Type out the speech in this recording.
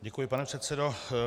Děkuji, pane předsedo.